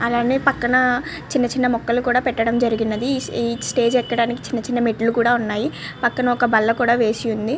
అలాగే పక్కన చిన్న చిన్న మొక్కలు కూడా పెట్టడం జరిగినది. ఈ స్టేజి ఎక్కడానికి మెట్టులు కూడా ఉన్నాయ్. పక్కన ఒక బల్ల కూడా వేసి ఉంది.